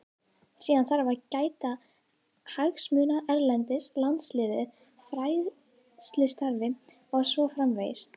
Síðan þarf að gæta hagsmuna erlendis, landsliðið, fræðslustarfið og svo framvegis.